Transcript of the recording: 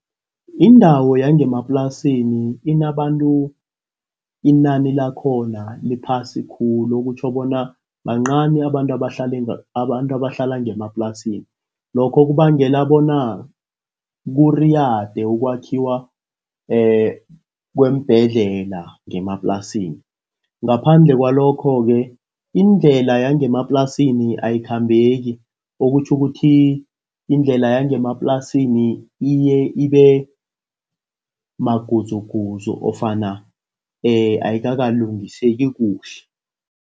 Indawo yangemaplasini, inabantu inani lakhona liphasi khulu. Okutjho bona bancani abantu abahlala ngemaplasini. Lokho kubangela bona kuriyade ukwakhiwa kweembhedlela ngemaplasini. Ngaphandle kwalokho-ke indlela yangemaplasini ayikhambeki. Okutjho ukuthi indlela yangemaplasini iye ibe magudzugudzu ofana ayikalungiseki kuhle.